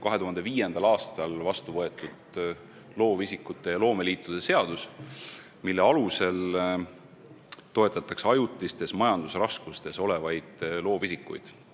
2005. aastal võeti vastu loovisikute ja loomeliitude seadus, mille alusel toetatakse ajutistes majandusraskustes olevaid loovisikuid.